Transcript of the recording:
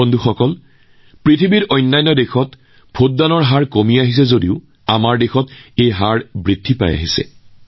বন্ধুসকল আজি দেশৰ বাবে উৎসাহৰ বিষয় যে বিশ্বৰ বহু দেশত ভোটৰ শতকৰা হাৰ কমিছে যদিও ভাৰতত ভোটৰ শতকৰা হাৰ বৃদ্ধি পাইছে